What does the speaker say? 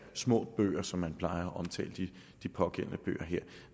små bøger som man plejer at omtale de pågældende